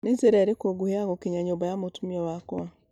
nĩ njĩra ĩriku ngũhi ya gũkinya nyũmba ya mũtũmia wakwa